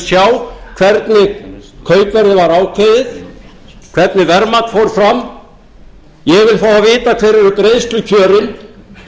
vil á á hvernig kaupverðið var ákveðið hvernig verðmat fór fram ég vil fá að vita hver eru greiðslukjörin